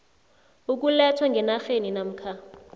ukulethwa ngenarheni namkha